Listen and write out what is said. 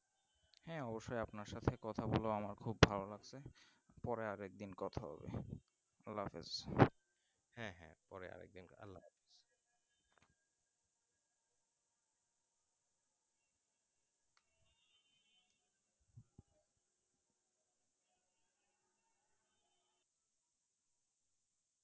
হ্যাঁ অবশ্যই আপনার সাথে কথা বলে আমার খুব ভালো লাগছে পরে আরেকদিন কথা হবে আল্ল্হাহাফিজ